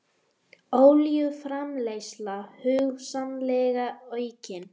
Olíuframleiðsla hugsanlega aukin